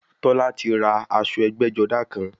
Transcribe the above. Tọ́lá ti ra aṣọ ẹgbẹ́-jọdá kan.